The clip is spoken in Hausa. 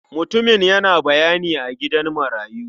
Mutumin yana bayani a gidan marayu.